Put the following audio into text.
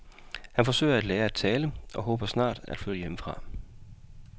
Han forsøger at lære at tale og håber på snart at flytte hjemmefra.